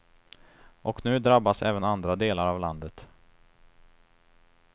Och nu drabbas även andra delar av landet.